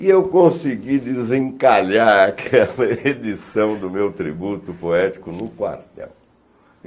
E eu consegui desencalhar aquela edição do meu tributo poético no quartel.